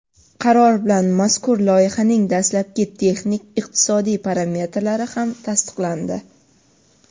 Qaror bilan mazkur loyihaning dastlabki texnik-iqtisodiy parametrlari ham tasdiqlandi.